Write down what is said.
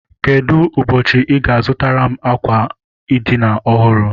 Kedụ ụbọchị I ga- azụtara m àkwà edina ọhụrụ?